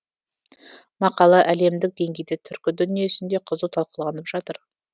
мақала әлемдік деңгейде түркі дүниесінде қызу талқыланып жатыр